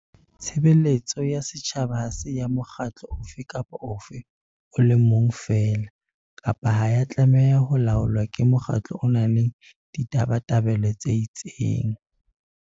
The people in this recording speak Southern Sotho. Tshebeletso ya setjhaba ha se ya mokgatlo ofe kapa ofe o le mong feela, kapa ha ya tlameha ho laolwa ke mokgatlo o nang le ditabatabelo tse itseng.